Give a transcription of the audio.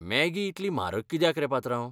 Maggi इतली म्हारग कित्याक रे, पात्रांव?